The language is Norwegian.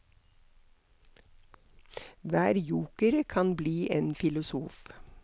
Hver joker kan bli en filosof.